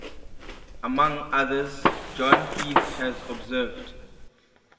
among others john heath has observed